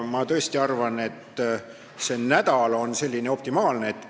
Ma tõesti arvan, et nädal on optimaalne aeg.